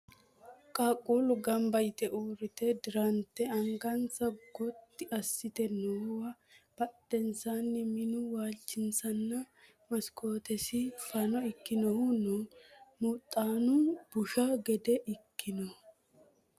qaqquulu ganba yite uurrite dirante angansa gotti assite noowa badhensaanni minu waalchosinna maskootesi fano ikinohu no huxxuno busha gede ikkinoho